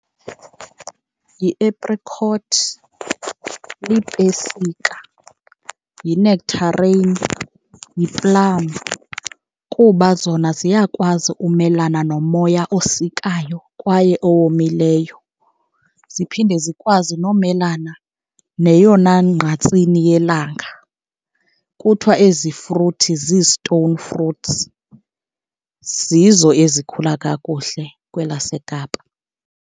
Yi-apricot, lipesika, yi-nectarine, yi-plum kuba zona ziyakwazi ukumelana nomoya osikayo kwaye owomileyo, ziphinde zikwazi nomelana neyona ngqatsini yelanga. Kuthiwa ezi fruthi zii-stone fruits, zizo ezikhula kakuhle kwelaseKapa.